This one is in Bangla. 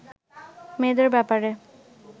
মেয়েদের ব্যাপারে